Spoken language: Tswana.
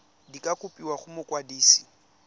di ka kopiwa go mokwadise